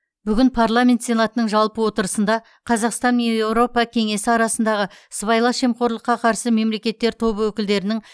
бүгін парламент сенатының жалпы отырысында қазақстан мен еуропа кеңесі арасындағы сыбайлас жемқорлыққа қарсы мемлекеттер тобы өкілдерінің